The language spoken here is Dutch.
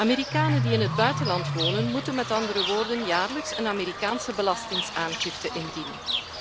Amerikanen die in het buitenland wonen, moeten met andere woorden jaarlijks een Amerikaanse belastingaangifte indienen.